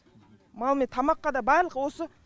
ман мен тамаққа да барлығы осы